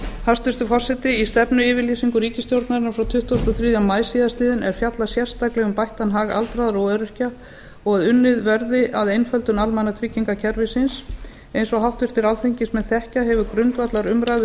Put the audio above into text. hæstvirtur forseti í stefnuyfirlýsingu ríkisstjórnarinnar frá tuttugasta og þriðja maí síðastliðinn er fjallað sérstaklega um bættan hag aldraðra og öryrkja og að unnið verði að einföldun almannatryggingakerfisins eins og háttvirtir alþingismenn þekkja hefur grundvallarumræða um